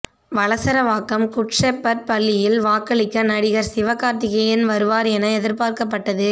Valasaravakkam good shepherd பள்ளியில் வாக்களிக்க நடிகர் சிவகார்த்திகேயன் வருவார் என எதிர்பார்க்கப்பட்டது